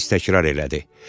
Qreys təkrar elədi.